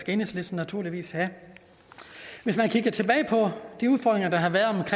enhedslisten naturligvis have hvis man kigger tilbage på de udfordringer der har været